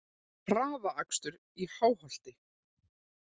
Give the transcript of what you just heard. Hraðakstur í Háholti